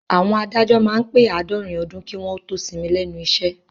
Àwọn adájọ́ máá ń pè àádọ́rin ọdún kí wọ́n ó tó sinmi lẹ́nu iṣẹ́